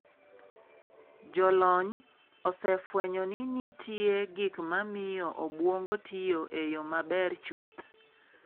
Jolonys osefwenyo ni nitie gik ma miyo obwongo tiyo e yo maber chuth.